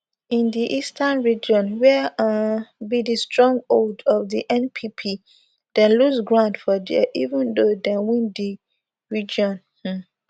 for di eastern region wia um be di stronghold of di npp dem lose grounds for dia even though dem win di region um